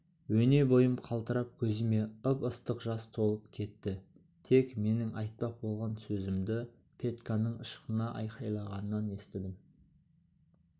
өне бойым қалтырап көзіме ып-ыстық жас толып кетті тек менің айтпақ болған сөзімді петьканың ышқына айқайлағанынан естідім